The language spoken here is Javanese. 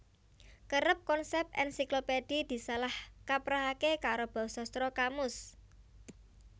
Kerep konsèp ènsiklopédhi disalah kaprahaké karo bausastra kamus